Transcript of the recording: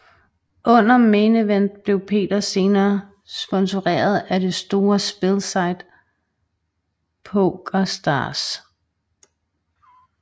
Under Main Event blev Peter senere sponsoreret af det store spilsite PokerStars